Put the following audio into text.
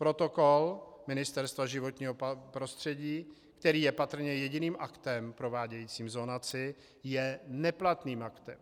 Protokol Ministerstva životního prostředí, který je patrně jediným aktem provádějícím zonaci, je neplatným aktem.